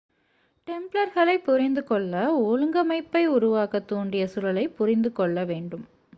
டெம்ப்லர்களைப் புரிந்து கொள்ள ஒழுங்கமைப்பை உருவாக்கத் தூண்டிய சூழலைப் புரிந்து கொள்ள வேண்டும்